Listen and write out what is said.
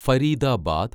Faridabad